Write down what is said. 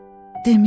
Deməyib.